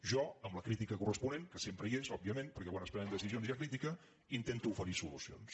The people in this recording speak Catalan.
jo amb la crítica corresponent que sempre hi és òbviament perquè quan es prenen decisions hi ha crítica intento oferir solucions